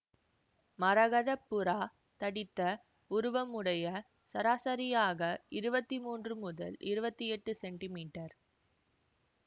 மரகத புறா தடித்த உருவமுடைய சராசரியாக இருபத்தி மூன்று முதல் இருபத்தி எட்டு சென்டிமீட்டர்